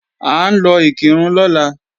À ń lọ Ìkìrun lọ́la